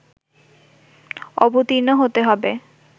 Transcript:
অবর্তীণ হতে হবে